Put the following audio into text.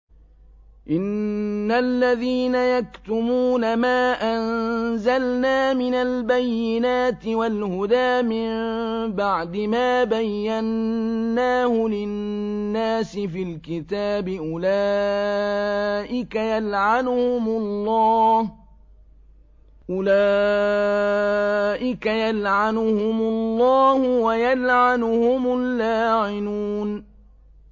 إِنَّ الَّذِينَ يَكْتُمُونَ مَا أَنزَلْنَا مِنَ الْبَيِّنَاتِ وَالْهُدَىٰ مِن بَعْدِ مَا بَيَّنَّاهُ لِلنَّاسِ فِي الْكِتَابِ ۙ أُولَٰئِكَ يَلْعَنُهُمُ اللَّهُ وَيَلْعَنُهُمُ اللَّاعِنُونَ